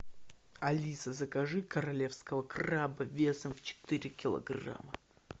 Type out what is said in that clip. алиса закажи королевского краба весом в четыре килограмма